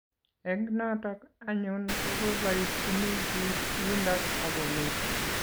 Eng" notok anyun kobaibaitchini piik yundok ako meny